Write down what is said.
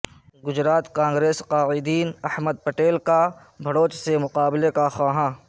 گجرات کانگریس قائدین احمد پٹیل کے بھڑوچ سے مقابلہ کے خواہاں